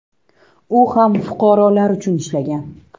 U ham fuqarolar uchun ishlagan.